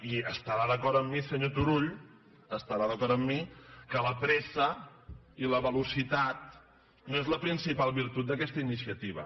i estarà d’acord amb mi senyor turull estarà d’acord amb mi que la pressa i la velocitat no són les principals virtuts d’aquesta iniciativa